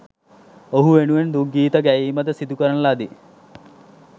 ඔහු වෙනුවෙන් දුක්ගීත ගැයීම ද සිදු කරන ලදී.